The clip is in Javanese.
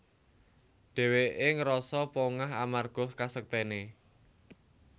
Dhèwèké ngrasa pongah amarga kasektèné